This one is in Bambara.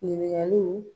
Ɲininkaliw